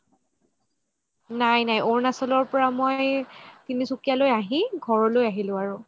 নাই নাই অৰুণাচলৰ পৰা মই তিনসুকিয়া লৈ আহি ঘৰলৈ আহিলো আৰু